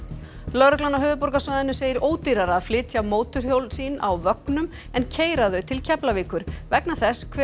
lögreglan á höfuðborgarsvæðinu segir ódýrara að flytja mótorhjól sín á vögnum en keyra þau til Keflavíkur vegna þess hve